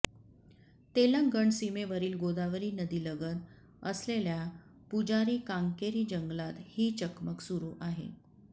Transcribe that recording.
तेलंगण सीमेवरील गोदावरी नदीलगत असलेल्या पुजारी कांकेरी जंगलात ही चकमक सुरु आहे